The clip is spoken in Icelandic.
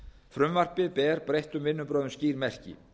frumvarpið ber breyttum vinnubrögðum skýr merki